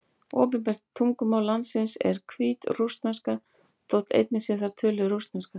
Opinbert tungumál landsins er hvítrússneska, þótt einnig sé þar töluð rússneska.